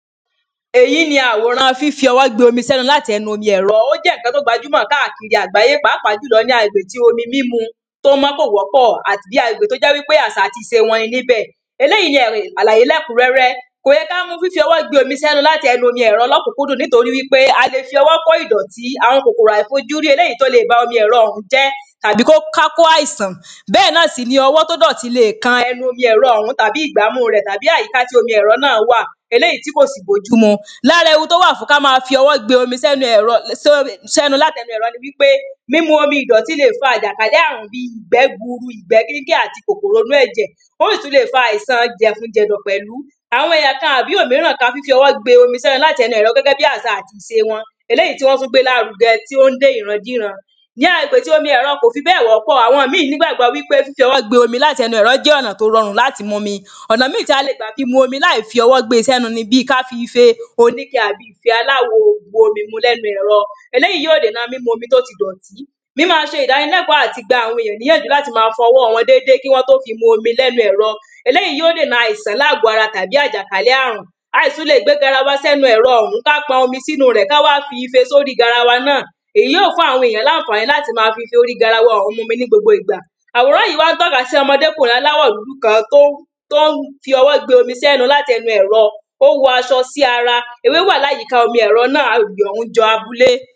Èyí ni àwòrán fíf ọwọ́ gbe omi sẹ́nu láti ẹnu omi ẹ̀rọ. Ó jẹ́ nǹkan tó gbajúmọ̀ kákìri àgbáyé pàápàá jùlọ ní agbègbè tí omi mímu tó mọ́ kò wọ́pọ̀ àti bí agbègbè tó jẹ́ pé àsà àti ìse wọn ni níbẹ̀. Eléèyí ni àlàyé lẹ́kùnrẹ́rẹ́. Kò yẹ ká mú fíf ọwọ́ gbe omi sẹ́nu láti ẹnu omi ẹ̀rọ lọ́kùnkúndùn nítorí wípé a le fi ọwọ́ kó ìdọ̀tí àwọn kòkòrò àìfojúrí eéèyí tó le ba omi ẹ̀rọ òhún jẹ́ tàbí kó ká kó àìsàn. Bẹ́ẹ̀ ná sì ni ọwọ́ tó dọ̀tí le kan ẹnú omi ẹ̀rọ ọ̀hún tàbí ìgbámú rẹ̀ tàbí àyíká tí omi ẹ̀rọ ọ̀hún náà wà eléèyí tí kò sì. Lára ewu tó wà fún ká má fi ọwọ́ gbe omi sẹ́nu ẹ̀rọ? sẹ́nu láti ẹnu ẹ̀rọ ni wípé mímu omi ìdọ̀tí le fa àjàkálé àrùn bí i ìgbẹ́ gburu ìgbẹ́ kínkín àti kòkòrò inú ẹ̀jẹ̀́. ó sì tún le fa àìsàn jẹ̀fun jẹ̀dọ̀ pẹ̀lú. Àwọn ẹ̀yà kan àbí òmínràn á tún fi ọwó gbe omi sẹ́nu láti ẹnu ẹ̀rọ gégé bí àsà àti ìse wọn eléèyí tí wọ́n tún gbé lárugẹ tí ó ń dé ìran díran. Ní agbègbè tí omi ẹ̀rọ kò fi bẹ́ẹ̀ wọ́pọ̀ àwọn míì nígbàgbọ́ wípé fífi ọwọ́ gbe omi láti ẹnu ẹ̀rọ jẹ́ ọ̀nà tí ó rọrùn láti mu omi ọ̀nà míì tí a lè gbà fi mu omi láì fi ọwọ́ gbé sẹ́nu ni bí ká fi ife oníke tàbí ife aláwo bu omi mu lẹ́nu ẹ̀rọ eléèyí yóò dènà mímu omi tó ti dọ̀tí. míma ṣe ìdánilẹ́kọ̀ àti gba àwọn èyàn níyànjú láti má a fọ ọwọ́ wọn dédé kí wọ́n tó má a fi mu omi látẹnu ẹ̀rọ eléèyí yóò dènà àìsàn láàgọ́ ara tàbí àjàkálé àrùn a sì tún le gbé garawa sẹ́nu ẹ̀rọ ọ̀hún ká pọn omi sínú rẹ̀ ká wá fi ife sórí garawa náà èyí yóò fún àwọn ènìyàn lánfàní láti má a fi ife orí garawa òhún láti má a fí mu omi ní gbogbo ìgbà àwòrán yìí wá tóka sí ọmọdékùnrin kan tó ń tó ń fi ọwọ́ gbe omi sẹ́nu látẹnu ẹ̀rọ. Ó wọ aṣọ sí ara ewé wà lára omi ẹ̀rọ náà ó jọ àbúlé.